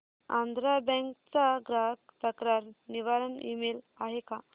Andhra bank चा ग्राहक तक्रार निवारण ईमेल आहे का